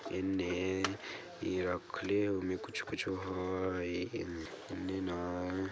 एन्ने रखले होइ कुछ-कुछ हई एन्ने न --